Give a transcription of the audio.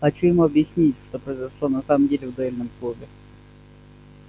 хочу ему объяснить что произошло на самом деле в дуэльном клубе